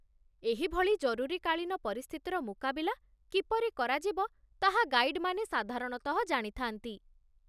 ଏହିଭଳି ଜରୁରୀକାଳୀନ ପରିସ୍ଥିତିର ମୁକାବିଲା କିପରି କରାଯିବ ତାହା ଗାଇଡ୍‌ମାନେ ସାଧାରଣତଃ ଜାଣିଥାନ୍ତି।